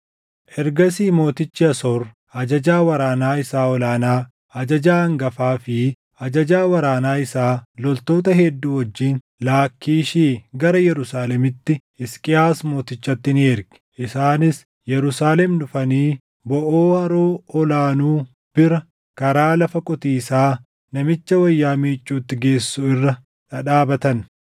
Ergasii Mootichi Asoor ajajaa waraanaa isaa ol aanaa, ajajaa hangafaa fi ajajaa waraana isaa loltoota hedduu wajjin Laakkiishii gara Yerusaalemitti Hisqiyaas mootichatti ni erge. Isaanis Yerusaalem dhufanii boʼoo haroo ol aanuu bira karaa lafa qotiisaa namicha wayyaa miicuutti geessu irra dhadhaabatan.